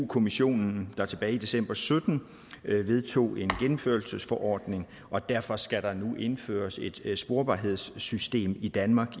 kommissionen der tilbage i december sytten vedtog en gennemførelsesforordning og derfor skal der nu indføres et sporbarhedssystem i danmark